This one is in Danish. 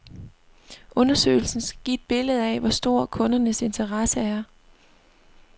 Undersøgelsen skal give et billede af, hvor stor kundernes interesse er.